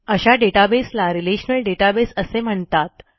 अशा डेटाबेस ला relational database असे म्हणतात